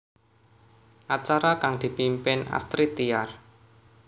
Acara kang dipimpin Astrid Tiar